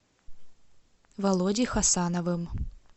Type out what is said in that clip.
володей хасановым